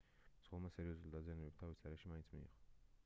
მძღოლმა სერიოზული დაზიანებები თავის არეში მაინც მიიღო